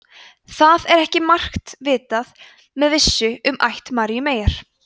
það er ekki margt vitað með vissu um ætt maríu meyjar